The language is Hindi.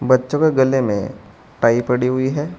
बच्चों के गले में टाई पड़ी हुई है।